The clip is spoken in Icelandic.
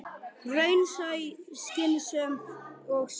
Raunsæ, skynsöm og sönn.